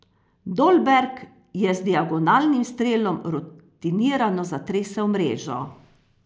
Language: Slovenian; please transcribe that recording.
Dolberg je z diagonalnim strelom rutinirano zatresel mrežo.